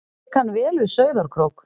Ég kann vel við Sauðárkrók.